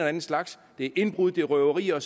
anden slags det er indbrud det er røverier